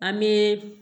An bɛ